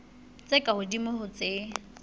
tse ka hodimo ho tse